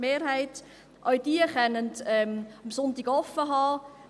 Auch diese können am Sonntag offen haben.